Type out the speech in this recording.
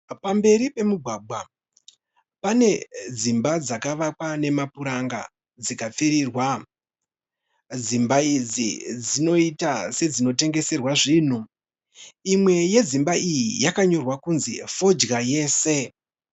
Pamberi pomugwagwa pane dzimba dzakawakwa nemapuranga dzikapfirirwa dzimba idzi dzinoita sedzinotengeserwa zvinhu imwe yedzimba idzi yakanyorwa kunzi fodya yese